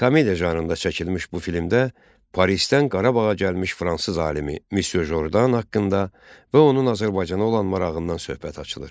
Komediya janrında çəkilmiş bu filmdə Parisdən Qarabağa gəlmiş fransız alimi Misye Jordandan haqqında və onun Azərbaycana olan marağından söhbət açılır.